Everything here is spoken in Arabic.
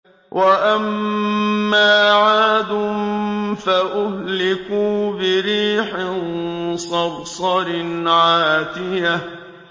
وَأَمَّا عَادٌ فَأُهْلِكُوا بِرِيحٍ صَرْصَرٍ عَاتِيَةٍ